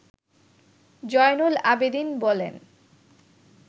জয়নুল আবেদীন বলেন